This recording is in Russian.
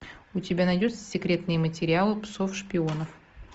у тебя найдется секретные материалы псов шпионов